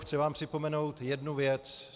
Chci vám připomenout jednu věc.